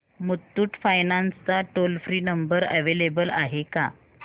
Muthoot finance चा toll free number available आहे का